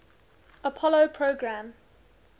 apollo program